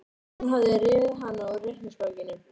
Hún hafði rifið hana úr reikningsbókinni.